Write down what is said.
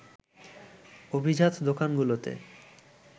অভিজাত দোকানগুলোতে